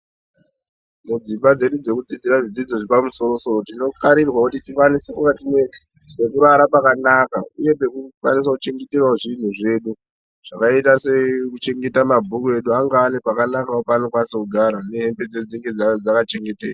Mudzimba dzedu dzekudzidzira zvidzidzo zvepamusoro-soro tinokarirwawo kuti tikwanise kunge tine pekurara pakanaka uye pekukwanisa kuchengeterawo zvinhu zvedu zvakaita sekuchengeta mabhuku edu ange ane pakanakawo paanokwanisa kugara nehembe dzedu dzinge dzakachengeteka.